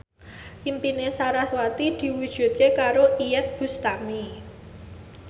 impine sarasvati diwujudke karo Iyeth Bustami